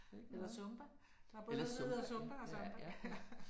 Eller zumba. Der er både noget der hedder zumba og samba